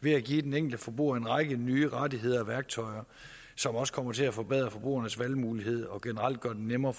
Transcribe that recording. ved at give den enkelte forbruger en række nye rettigheder og værktøjer som også kommer til at forbedre forbrugernes valgmulighed og generelt gør det nemmere